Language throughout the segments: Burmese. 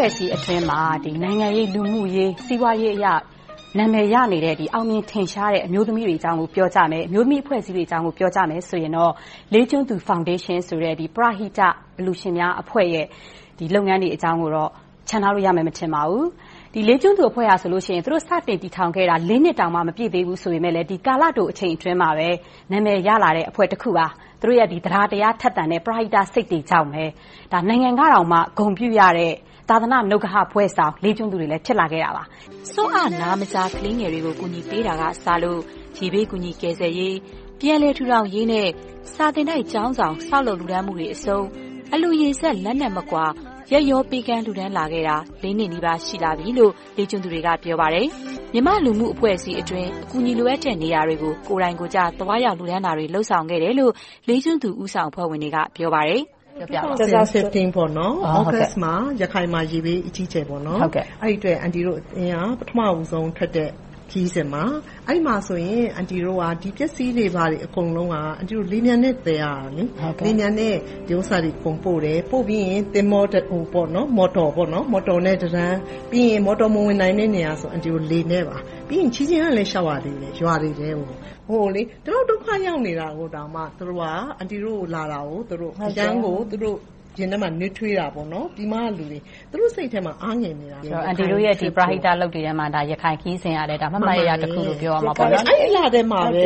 ွဲ့အစည်းအတွင်းမှာ နိုင်ငံရေး၊ လူမှုရေး၊ စီးပွားရေးအရ နာမည်ရနေတဲ့၊ အောင်မြင်ထင်ရှားနေကြတဲ့ အမျိုးသမီးတွေအကြောင်း၊ အမျိုးသမီးအဖွဲ့အစည်းတွေအကြောင်းကို ပြောကြမယ်ဆိုရင်တော့ လေးကျွန်းသူဖောင်ဒေးရှင်းဆိုတဲ့ ပရဟိတအလှူရှင်များအဖွဲ့ရဲ့ လုပ်ငန်းတွေအကြောင်းကိုတော့ ချန်ထားလို့မရပါဘူး။ ဒီလေးကျွန်းသူအဖွဲ့ကဆိုရင် သူတို့စတင်တည်ထောင်ခဲ့တာ လေးနှစ်တောင် မပြည့်သေးဘူးဆိုပေမယ့်လဲ ကာလတိုအချိန်အတွင်းမှာပဲ နာမည်ရလာတဲ့အဖွဲ့တခုပါ။ သူတို့ရဲ့ သဒ္ဒါတရားထက်သန်တဲ့ ပရဟိတစိတ်တွေကြောင့် နိုင်ငံတော်က ဂုဏ်ပြုတဲ့ ဂုဏ်ထူးဘွဲ့ဆောင်သူတွေ ဖြစ်ကြပါတယ်။ ဆွံ့အနားမကြား ကလေးငယ်များကို ကူညီပေးတာကစလို့ ရေဘေးကူညီကယ်ဆယ်ရေး၊ ပြန်လည်ထူထောင်ရေးနဲ့ စာသင်တိုက်ကျောင်းဆောင် ဆောက်လုပ်လှူဒါန်းမှုတွေအဆုံး အလှူရေစက် လက်နဲ့မကွာ၊ ရက်ရောပေးကမ်းလှူဒါန်းလာခဲ့တာ လေးနှစ်နီးပါး ရှိလာပြီလို့ လေးကျွန်းသူတွေက ပြောပါတယ်။ မြန်မာ့လူမှု့အဖွဲ့အစည်းတွေအတွင်း ကူညီလိုအပ်တဲ့နေရာတွေကို ကိုယ်တိုင်ကိုယ်ကျသွားရောက် လှူဒါန်းတာတွေ လုပ်ဆောင်ခဲ့တယ်လို့ လေးကျွန်းသူ ဦးဆောင်အဖွဲ့ဝင်တွေက ပြောပါတယ်။ ၂၀၁၅ သြဂုတ်လမှာ ရခိုင်မှာ ရေဘေးအကြီးအကျယ် ဖြစ်တယ်။ အန်တီတို့ ပထမဦးဆုံးထွက်တဲ့ ခရီးစဉ်မှာ လှူဒါန်းတဲ့ပစ္စည်းတွေ အကုန်လုံးက လေယာဉ်ပျံနဲ့ သယ်ရတာ။ အဲဒါတွေကို အကုန်ပို့တယ်။ ပြီးတော့ မော်တော်သင်္ဘောနဲ့ ပို့ရတယ်။ မော်တော်သင်္ဘော မဝင်နိုင်တဲ့နေရာကို လှေနဲ့သွားပြီးနောက် ခြေလျှင်လည်း လျှောက်ရသေးတယ်။ သူတို့ဒုက္ခရောက်နေကြပေမယ့် အန်တီတို့လာတယ်ဆိုတော့ နွေးထွေးကြတာပေါ့။ သူတို့စိတ်ထဲမှာ အားငယ်နေကြချိန်။ အန်တီတို့ ပရဟိတလုပ်ငန်းတွေထဲမှာ ရခိုင်ခရီးစဉ်ကလည်း မှတ်မှတ်ရရတခုလို့ ပြောရမှာပေ့ါ။ အဲဒီလထဲမှာပဲ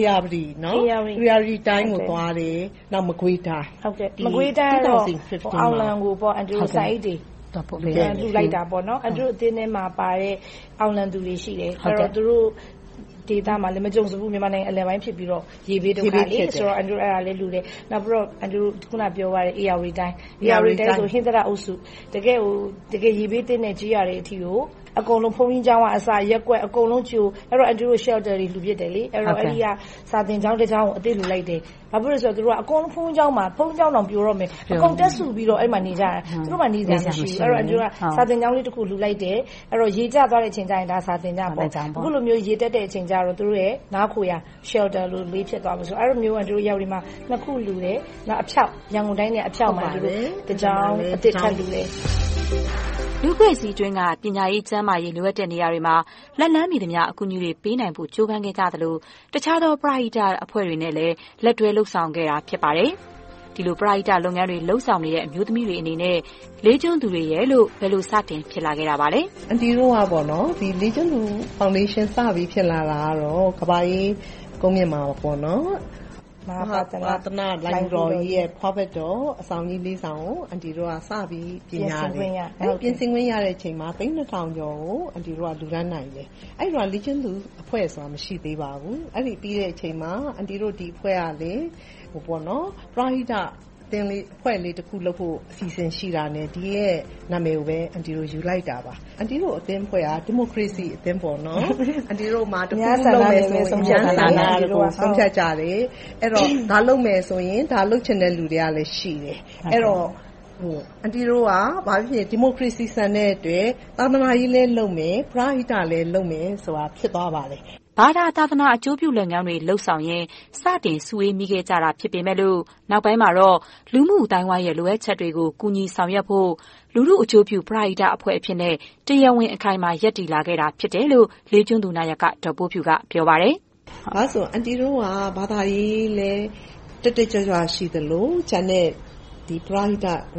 ဧရာဝတီတိုင်းကို သွားကြတယ်။ နောက် မကွေးတိုင်း အောင်လံကို ဆန်အိတ်တွေ လှူဒါန်းကြတယ်။ အန်တီတို့ အသင်းထဲမှာပါတဲ့ အောင်လံသူတွေ ရှိတယ်။ သူတို့ဒေသမှာလည်း မကြုံစဖူး မြန်မာနိုင်ငံအလယ်ပိုင်းဖြစ်ပြီးတော့ ရေဘေးဒုက္ခ တွေ့ကြုံရတယ်။ အန်တီတို့ အဲဒီမှာ သွားလှူတယ်။ နောက် ဧရာဝတီတိုင်း ဟင်္သာတအုပ်စု တကယ့်ကို ရေဘေးထိခိုက်တဲ့ ကျေးရွာတွေအထိကို အကုန်လုံး ဘုန်းကြီးကျောင်းကအစ၊ ရပ်ကွက်တွေကို အန်တီတို့ Shelters တွေ လှူကြတယ်။ အဲဒီက စာသင်ကျောင်းတကျောင်းကို အသစ်လှူလိုက်တယ်။ ဘာဖြစ်လို့လဲဆိုတော့ သူတို့က ဘုန်းကြီးကျောင်းတော့ ပြိုတော့မယ် အကုန်တက်စုပြီးတော့ နေကြတယ်။ သူတို့တွေမှာ နေစရာမရှိဘူး။ အဲဒီတော့ အန်တီတို့က စာသင်ကျောင်းလေးတခု လှူလိုက်တယ်။ ရေကျသွားတဲ့အချိန်မှာ အခုလိုမျိုး ရေတက်တဲ့အချိန်ကြတော့ သူတို့ရဲ့ နားခိုရာ Shelter လေးလို့ သုံးလို့ရတယ်။ အဲဒီမှာ အန်တီတို့ နှစ်ခုလှူတယ်။ နောက် အဖျောက်မှာ ကျောင်းတကျောင်း ထပ်လှူတယ်။ လူ့အဖွဲ့အစည်းအတွင်းက ပညာရေး၊ ကျန်းမာရေး လိုအပ်တဲ့နေရာတွေမှာ လက်လှမ်းမိသမျှ အကူအညီတွေ ပေးနိုင်ဖို့ ကြိုးပမ်းနေကြသလို၊ တခြားသော ပရဟိတအဖွဲ့တွေနဲ့လည်း လက်တွဲလုပ်ဆောင်ခဲ့တာ ဖြစ်ပါတယ်။ ဒီလို ပရဟိတတွေ လုပ်ဆောင်နေကြတဲ့ အမျိုးသမီးများအနေနဲ့ လေးကျွန်းသူတွေအနေနဲ့လည်း ဘယ်လို စတင်ဖြစ်လာခဲ့ပါသလဲ။ အန်တီတို့ လေးကျွန်းသူဖောင်ဒေးရှင်းအနေနဲ့ ဖြစ်လာခဲ့တာ ကမ္ဘာအေးကုန်မြင့်မှာပါ -မဟာပါသာဏသာသနာလိုဏ်ဂူတော်ကြီးရဲ့ ဖွားဖက်တော် အဆောင်ကြီးလေးဆောင်ကို စပြီးပြင်ဆင်ခွင့်ရခဲ့တယ်။ အဲဒီပြင်ဆင်ခွင့်ရတဲ့အချိန်မှာ သိန်းနှစ်ထောင်ကျော်ကို အန်တီတို့ လှူဒါန်းနိုင်ခဲ့တယ်။ အဲဒီတုန်းက လေးကျွန်းသူအဖွဲ့ဆိုတာ မရှိသေးပါဘူး။ အဲဒီပြီးတဲ့အချိန်မှာ အန်တီတို့အဖွဲ့က ပရဟိတအသင်းလေးတဖွဲ့လုပ်ဖို့ အစီအစဉ်ရှိတာနဲ့ ဒီရဲ့နာမည်ကိုပဲ ယူလိုက်တာပါ။ အန်တီတို့ အသင်းအဖွဲ့ဟာ ဒီမိုကရေစီအသင်းပါ - အန်တီတို့မှာ တခုခုလုပ်မယ်ဆိုရင် အများဆန္ဒနဲ့ ဆုံးဖြတ်ကြတယ်။ အဲဒီတော့ ဒါလုပ်မယ်ဆိုရင် ဒါလုပ်ချင်တဲ့လူတွေကလည်း ရှိတယ်။ အဲဒီတော့ အန်တီတို့က ဒီမိုကရေစီ ဆန်တဲ့အတွက်လည်း သာသနာရေးလည်း လုပ်မယ်၊ ပရဟိတလည်း လုပ်မယ်ဆိုပြီ ဖြစ်လာခဲ့ပါတယ်။ ဘာသာ၊ သာသနာ အကျိုးပြုလုပ်ငန်းတွေ လုပ်ဆောင်ရင် စတင်စုဝေးခဲ့မိကြတာ ဖြစ်ပေမယ့် နောက်ပိုင်းမှာတော့ လူမှု့အသိုင်းအဝိုင်းရဲ့ လိုအပ်ချက်တွေကို ကူညီဆောင်ရွက်ဖို့ လူထုအကျိုးပြု ပရဟိတအဖြစ်နဲ့ တရားဝင် ရပ်တည်လာခဲ့တာ ဖြစ်တယ်လို့ လေးကျွန်းသူနာယက ဒေါ်ပိုးဖြူက ပြောပါတယ်။ အန်တီတို့က ဘာသာရေးလည်း တက်တက်ကြွကြွ ရှိသလို၊ ကျန်တဲ့ ပရဟိတ၊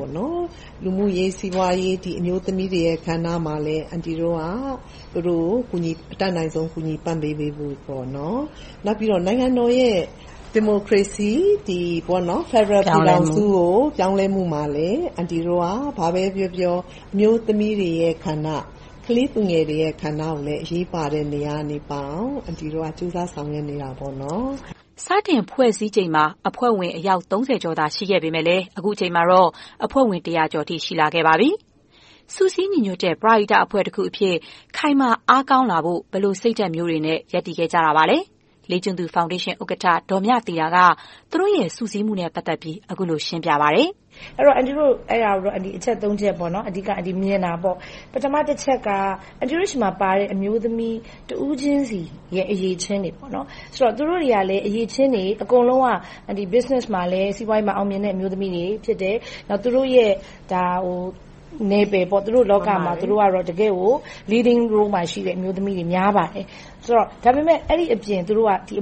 လူမှုရေး၊ စီးပွားရေး၊ အမျိုးသမီးတွေရဲ့ ကဏ္ဍမှာလည်း အန်တီတို့က သူတို့ကို အတတ်နိုင်ဆုံး ကူညီပံ့ပိုးပေးဖို့။ နောက်ပြီးတော့ နိုင်ငံတော်ရဲ့ ဒီမိုကရေစီ ဖယ်ဒရယ်ပြည်ထောင်စု ပြောင်းလဲမှုမှာလည်း ဘာပဲပြောပြော အမျိုးသမီးတွေရဲ့ ကဏ္ဍ၊ ကလေးသူငယ်တွေရဲ့ ကဏ္ဍ အရေးပါတဲ့ နေရာကပါအောင် အန်တီတို့ ကြိုးစားဆောင်ရွက်နေပါတယ်။ စတင်ဖွဲ့စည်းချိန်မှာ အဖွဲ့ဝင်အယောက် ကျော်သာ ရှိခဲ့ပေမယ့်လဲ အခုအခါမှာတော့ အဖွဲ့ဝင် တစ်ရာကျော်အထိ ရှိလာခဲ့ပါပြီ။ စုစည်းညီညွှတ်တဲ့ ပရသိတ် ခိုင်မာအားကောင်းလာဖို့ ဘယ်လိုစိတ်ဓါတ်တွေနဲ့ ရပ်တည်လာခဲ့ကြတာပါ။ လေးကျွန်းသူဖောင်ဒေးရှင် ဥက္ကဋ္ဌ ဒေါ်မြသီတာ က သူတို့ရဲ့ စုစည်းမှုနဲ့ ပတ်သက်ပြီး အခုလိုရှင်းပြပါတယ်။ အန်တီတို့ အချက် ချက် အဓိကမြင်တာပေါ့ - ပထမတချက်က အန်တီတို့ဆီမှာပါတဲ့ အမျိုးသမီးတဦးချင်းဆီရဲ့ အရည်အချင်းတွေ။ အကုန်လုံးက စီးပွားရေးမှာ အောင်မြင်တဲ့ အမျိုးသမီးတွေ ဖြစ်ကြတယ်။ သူတို့နယ်ပယ်လောကမှာ သူတို့က Leading Role မှာ ရှိနေတယ်။ ဒါပေမဲ့ အဲဒီအပြင်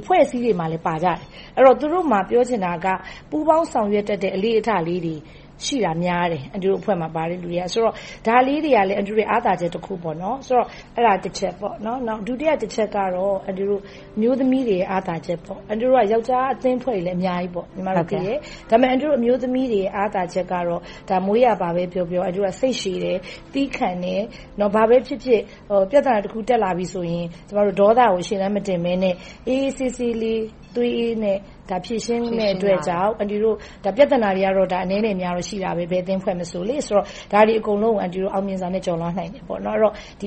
အဖွဲ့အစည်းတွေမှာလည်း ပါကြတယ်။ အဲဒီတော့ သူတို့မှာ ပြောချင်တာက ပူးပေါင်းဆောင်ရွက်တတ်တဲ့ အလေ့အထလေးတွေ ရှိတာများတယ်။ ဒါလေးတွေကလည်း အန်တီတို့ရဲ့ အားသာချက်တခုပေါ့။ ဒုတိယတချက်ကတော့ အမျိုးသမီးတွေရဲ့ အားသာချက်ပါ။ ယောကျ်ားအသင်းအဖွဲ့တွေ အများကြီးရှိတယ်။ ဒါပေမဲ့ အန်တီတို့ အမျိုးသမီးတွေရဲ့ အားသာချက်က မွေးရာပါပဲပြောပြော အန်တီတို့က စိတ်ရှည်တယ်၊ သည်းခံတယ်။ ဘာပဲဖြစ်ဖြစ် ပြဿနာတခုခု တက်လာပြီဆိုရင် ဒေါသကို ရှေ့တန်းမတင်ဘဲနဲ့ အေးအေးဆေးဆေး၊ သွေးအေးစွာနဲ့ ဖြေရှင်းနိုင်တဲ့အတွက်ကြောင့် - ပြဿနာကတော့ ဘယ်အသင့်အဖွဲ့မဆို ရှိတာပဲ - ဒါတွေအားလုံးကို အန်တီတို့ အောင်မြင်စွာနဲ့ ကျော်လွှာနိုင်ခဲ့တယ်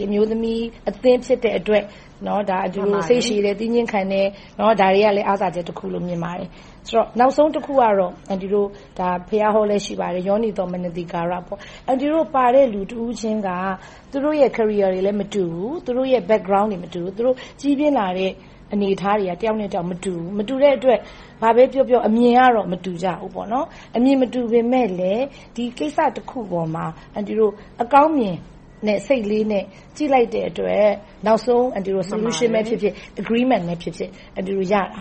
။ အမျိုးသမီးအသင်း ဖြစ်တဲ့အတွက် စိတ်ရှည်တယ်၊ သည်းခံတယ်၊ ဒါတွေကလည်း အားသာချက်တခုလို့ မြင်ပါတယ်။ နောက်ဆုံးတခုကတော့ ဘုရားဟောလည်း ရှိပါတယ်။ ယောနီသော မနသီကာယ - အန်တီတို့ပါတဲ့ လူတဦးချင်းက သူတို့ရဲ့ Career တွေလည်း မတူဘူး။ သူတို့ရဲ့ Background တွေ မတူဘူး။ သူတို့ကြီးပြင်းလာတဲ့ အနေအထားတွေက တယောက်နဲ့တယောက် မတူတဲ့အတွက် အမြင်အားဖြင့် မတူကြဘူး။ အမြင်မတူညီကြပေမယ့်လဲ ဒီကိစ္စတခုအပေါ်မှာ အန်တီတို့ အကောင်းမြင်စိတ်လေးနဲ့ ကြည့်လိုက်တဲ့အတွက် နောက်ဆုံး Solution ပဲဖြစ်ဖြစ်၊ Agreement ပဲဖြစ်ဖြစ် ရကြတယ်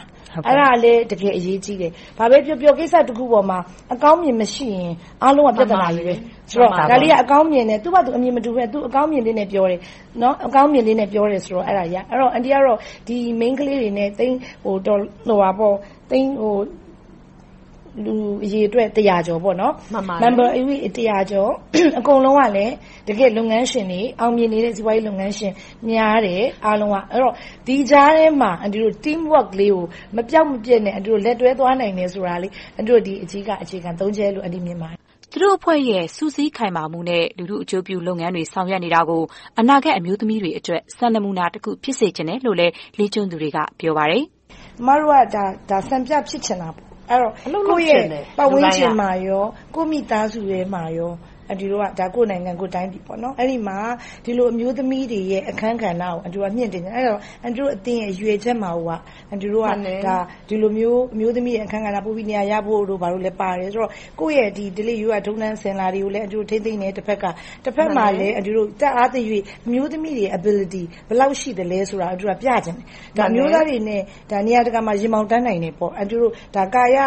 ။ အဲဒါလဲ တကယ်အရေးကြီးတယ်။ ဘာပဲပြောပြော ကိစ္စတခုအပေါ်မှာ အကောင်းမြင် မရှိရင် အားလုံးက ပြဿနာတွေ။ ဒါလေးက အကောင်းမြင်တယ်။ သူဘာသာ အမြင်မတူပေမယ့် အကောင်းမြင်လေးနဲ့ ပြောတယ်ဆိုတော့ ဒီအမျိုးသမီးတွေ တစ်ရာကျော်နဲ့ အကုန်လုံးကလည်း လုပ်ငန်းရှင်တွေ၊ အောင်မြင်နေတဲ့ စီးပွားရေးလုပ်ငန်းရှင်တွေ များတယ်။ ဒီကြားထဲမှာ Teamwork လေးကို မပျောက်မပျက်နဲ့ လက်တွဲသွားနိုင်တယ်ဆိုတာလေးက ဒီအဓိက အခြေခံ ချက်ကြောင့် ဖြစ်ပါတယ်။ သူတို့အဖွဲ့ရဲ့ စုစည်းခိုင်မာမှုနဲ့ လူထုအကျိုးပြုလုပ်ငန်းတွေ ဆောင်ရွက်နေတာကို အနာဂတ်အမျိုးသမီးတွေအတွက် စံနမှုနာတခု ဖြစ်စေချင်တယ်လို့လည်း လေးကျွန်းသူတွေက ပြောပါတယ်။ အမတို့က စံပြဖြစ်ချင်တာ။ ကိုယ့်ရဲ့ပတ်ဝန်းကျင်မှာကော ကိုယ့်မိသားစုထဲမှာရော ကိုယ့်နိုင်ငံကိုယ့်တိုင်းပြည်မှာ အမျိုးသမီးတွေရဲ့ အခန်းကဏ္ဍကို မြှင့်တင်ချင်တယ်။ အန်တီတို့အသင်းရဲ့ ရည်ရွယ်ချက်က ဒီလိုမျိုး အမျိုးသမီးကဏ္ဍ ပိုပြီးနေရာရဖို့တို့ ဘာတို့လဲ ပါတယ်။ ကိုယ့်ရဲ့ဓလေ့ရိုးရာ ထုံးတမ်းအစဉ်အလာတွေကိုလည်း တဘက်က ထိန်းသိမ်းတယ်။ တဘက်မှာလည်း တတ်အားသရွေ့ အမျိုးသမီးတွေရဲ့ Ability ဘယ်လောက်ရှိသလဲဆိုတာကို ပြချင်တယ်။ အမျိုးသားတွေနဲ့ နေရာတကာမှာ ရင်ဘောင်တန်းနိုင်တယ်ပေါ့။ ကာယ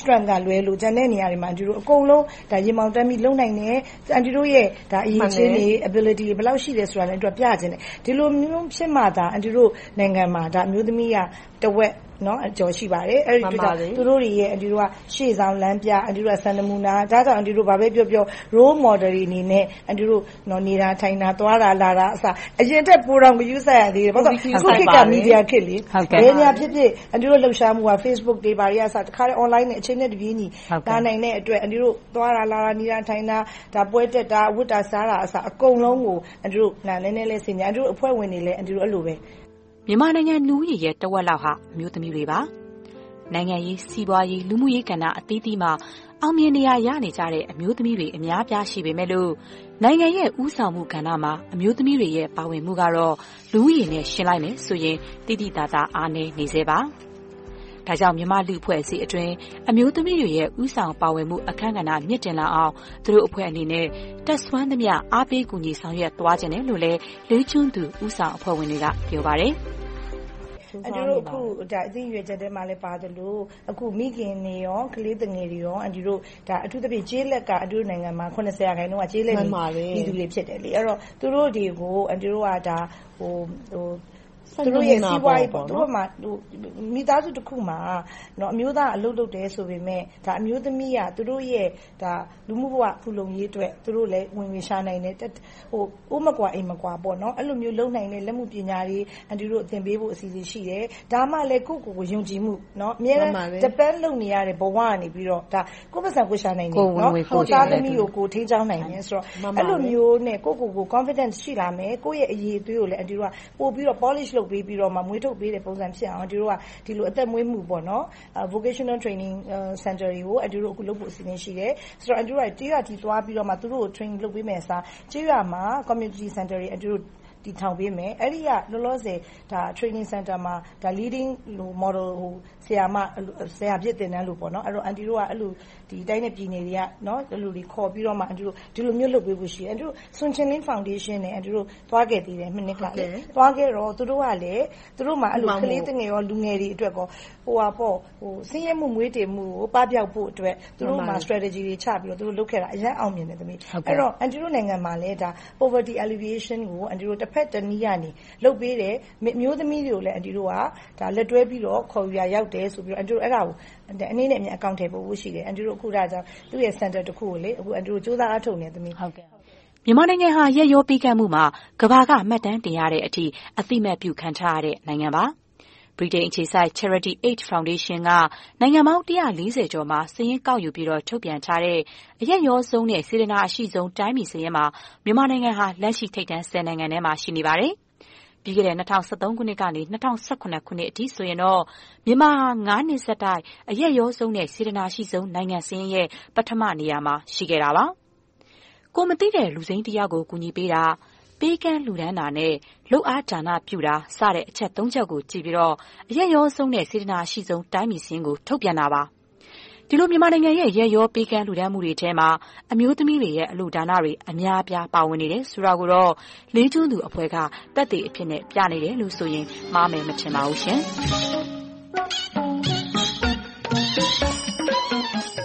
Strength က လွဲလို့ ကျန်တဲ့နေရာတွေမှာ ရင်ဘောင်တန်းပြီး လုပ်နိုင်တယ်။ အန်တီတို့ရဲ့ အရည်အချင်းတွေ ဘယ်လောက်ရှိတယ်ဆိုတာလဲ ပြချင်တယ်။ ဒီလိုမျိုး ဖြစ်မှသာ အန်တီတို့ နိုင်ငံမှာ အမျိုးသမီးတွေက တဝက်ကျော်ရှိပါတယ်။ အန်တီတို့က သူတို့တွေရဲ့ ရှေ့ဆောင်လမ်းပြ၊ စံနမူနာ - ဒါကြောင့် ဘာပဲပြောပြော Role Model တွေအနေနဲ့ အန်တီတို့ နေတာထိုင်တာ၊ သွားတာလာတာ အရင်ထက် ပိုတောင်ဂရုစိုက်ရတယ်။ အခုခေတ်က မီဒီယာခေတ် - ဘယ်နေရာဖြစ်ဖြစ် အန်တီတို့ လှုပ်ရှားမှုတွေကို Facebook တွေ၊ Online ကနေ အချိန်နဲ့တပြေညီ လာနိုင်တဲ့အတွက် သွားလာနေထိုင်မှုတွေ၊ ပွဲတက် ဝတ်စားမှုတွေကို ဆင်ခြင်လုပ်ကိုင် နေထိုင်ကြတယ်။ မြန်မာနိုင်ငံလူဦးရေရဲ့ တဝက်လောက်ဟာ အမျိုးသမီးတွေပါ။ နိုင်ငံရေး၊ စီးပွားရေး၊ လူမှုရေးကဏ္ဍအသီးသီးမှာ အောင်မြင်နေရာ ရနေကြတဲ့ အမျိုးသမီးတွေ အများအပြား ရှိနေကြပေမယ့် နိုင်ငံရဲ့ ဦးဆောင်ကဏ္ဍမှာ အမျိုးသမီးတွေရဲ့ ပါဝင်မှုကတော့ လူဦးရေနဲ့ ယှဉ်လိုက်မယ်ဆိုရင် သိသိသာသာ အားနည်းနေဆဲပါ။ ဒါကြောင့် မြန်မာ့လူမှုအဖွဲ့အစည်းအတွင်း အမျိုးသမီးတွေရဲ့ ဦးဆောင်ပါဝင်မှုအခန်းကဏ္ဍ မြင့်တင်လာအောင် သူတို့အဖွဲ့အနေနဲ့ တတ်စွမ်းသမျှ အားပေးဆောင်ရွက်သွားချင်တယ်လို့လည်း လေးကျွန်းသူ ဦးဆောင်အဖွဲ့ဝင်တွေက ပြောပါတယ်။ အန်တီတို့ အသင်းရည်ရွယ်ချက်ထဲမှာ ပါသလို၊ မိခင်တွေ၊ ကလေးသူငယ်တွေ - အထူးသဖြင့် ကျေးလက်က ရာခိုင်နှုန်း ဖြစ်တယ်။ သူတို့တွေကို သူတို့ရဲ့ စီးပွားရေး - မိသားစုတစုမှာ အမျိုးသားက အလုပ်လုပ်တယ်ဆိုပေမယ့် အမျိုးသမီးက သူတို့လူမှု့ဘဝ ဖူးလုံရေးအတွက် သူတို့လည်း ဝင်ငွေရှာနိုင်တယ်။ အိုးမကွာအိမ်မကွာ အဲဒီလိုမျိုး လုပ်နိုင်တဲ့ လက်မှုပညာတွေ သင်ပေးဖို့ အစီအစဉ်တွေ ရှိတယ်။ ဒါမှလဲ ကိုယ့်ကိုယ်ကို ယုံကြည်မှု ရှိလာတယ်။ အမြဲတမ်း Depend မှီခိုနေရတဲ့ ဘဝကနေ ကိုယ့်ဝင်ငွေ ကိုယ်ရှာနိုင်တယ်။ ကိုယ့်သားသမီးတွေကို ထိန်းကျောင်းနိုင်တယ်ဆိုတော့ - အဲဒီလိုမျိုးနဲ့ ကိုယ့်ကိုယ်ကို ယုံကြည်မှု ရှိလာမယ်။ ကိုယ့်အရည်အသွေးကိုလည်း ပိုပြီးတော့ မြင့်တင်ပြီးတော့ လုပ်ပေးတဲ့ပုံစံဖြစ်အောင် အသက်မွေးကျောင်း Vocational Training Center တွေကို လုပ်ဖို့ အစီအစဉ် ရှိတယ်။ ကျေးရွာအထိ သွားပြီးတော့ သူတို့ကို Training လုပ်ပေးမယ့်အစား ကျေးရွာမှာ Community Center တွေ တည်ထောင်ပေးမယ်။ အဲဒီ Training Center မှာ Leading Model ဆရာမ ဆရာဖြစ်သင်တန်းလို့ အန်တီတို့က တိုင်းနဲ့ပြည်နယ်တွေက ခေါ်ပြီးတော့ လုပ်ပေးဖို့ရှိတယ်။ မနှစ်က… ဖောင်ဒေးရှင်နဲ့ သွားခဲ့တာ ရှိတယ်။ သွားခဲ့တော့ သူတို့ကလည်း သူတို့မျာ ကလေးသူငယ်နဲ့ လူငယ်တွေအတွက် ဆင်းရဲမှုမွဲတေမှု ပပျောက်ဖို့အတွက် သူတို့ နည်းဗျူဟာတွေ ချပြီးတော့ လုပ်ခဲ့တာ အရမ်းအောင်မြင်တယ်။ အဲဒီတော့ အန်တီတို့နိုင်ငံမှာလည်း Poverty Alleviation ကို တဘက်တနည်းကနေ လုပ်ပေးတယ်။ အမျိုးသမီးတွေကိုလည်း လက်တွဲပြီးတော့ ခေါ်ယူရာရောက်တယ်ဆိုပြီးတော့ အဲဒါကို အနှေးနဲ့အမြန် အကောင်အထည်ဖော်ဖို့ ရှိတယ်။ စင်တာတခုကို တည်ဆောက်ဖို့ ကြိုးစားအားထုတ်နေတယ်။ မြန်မာနိုင်ငံဟာ ရက်ရောပေးကမ်းမှုမှာ ကမ္ဘာက မှတ်တမ်းတင်ရတဲ့အထိ အသိအမှတ်ပြုခံထားရတဲ့ နိုင်ငံပါ။ ဗြိတိန်အခြေစိုက် UK Charity Aid Foundation က နိုင်ငံပေါင်း ကျော်မှာ စာရင်းကောက်ယူပြီးတော့ ထုတ်ပြန်ထားတဲ့ အရက်ရောဆုံးနဲ့ စေတနာ အရှိဆုံး တိုင်းပြည်စာရင်းမှာ မြန်မာနိုင်ငံဟာ လက်ရှိထိပ်တန်း နိုင်ငံအတွင်းမှာ ရှိနေပါတယ်။ ပြီးခဲ့တဲ့ ၂၀၁၃ ခုနှစ်ကနေ ၂၀၁၇ ခုနှစ်အထိဆိုရင် မြန်မာနိုင်ငံဟာ နှစ်ဆက်တိုက် အရက်ရောဆုံးနဲ့ စေတနာအရှိဆုံး နိုင်ငံစာရင်းရဲ့ ပထမနေရာမှာ ရှိခဲ့တာပါ။ ကိုယ်မသိတဲ့ လူစိမ်းတယောက်ကို ကူညီပေးတာ၊ ပေးကမ်းလှူဒါန်းတာနဲ့ လုပ်အားဒါနပြုတာစတဲ့ အချက် ချက်ကို ကြည့်ပြီးတော့ အရက်ရောဆုံးနဲ့ စေတနာ အရှိဆုံး တိုင်းပြည်စာရင်းကို ထုတ်ပြန်တာပါ။ ဒီလို မြန်မာနိုင်ငံရဲ့ ရက်ရောပေးကမ်းလှူဒါန်းမှုတွေထဲမှာ အမျိုးသမီးတွေရဲ့ အလှူဒါနတွေ အများအပြား ပါဝင်နေတယ်ဆိုတာကိုတော့ လေးကျွန်းသူအဖွဲ့က သက်သေအဖြစ် ပြနေတယ်ဆိုရင် မှားမယ်မထင်ပါဘူးရှင်။